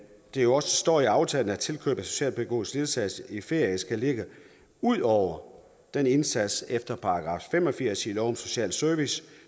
jo også står i aftalen at tilkøb af socialpædagogisk ledsagelse i ferie skal ligge ud over den indsats efter § fem og firs i lov om social service